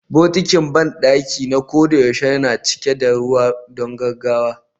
Bokitin banɗaki na koyaushe yana cika da ruwa don gaggawa